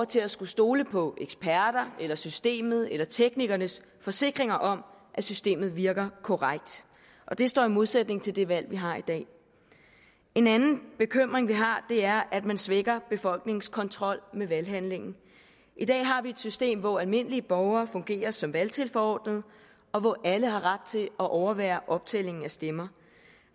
til at skulle stole på eksperter eller systemet eller teknikernes forsikringer om at systemet virker korrekt og det står i modsætning til det valg vi har i dag en anden bekymring vi har er at man svækker befolkningens kontrol med valghandlingen i dag har vi et system hvor almindelige borgere fungerer som valgtilforordnede og hvor alle har ret til at overvære optællingen af stemmer